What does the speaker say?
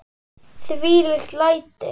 Þvílík læti!